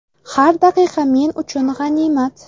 Har daqiqa men uchun g‘animat.